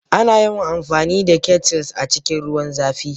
Ana yawan amfani da kettles a cikin ruwan zafi.